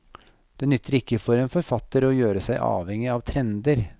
Det nytter ikke for en forfatter å gjøre seg avhengig av trender.